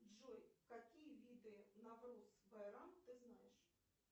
джой какие виды навруз байрам ты знаешь